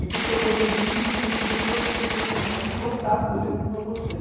E porque eu gostei do livro e queria, queria que outras pessoas também gostassem do livro como eu gostei.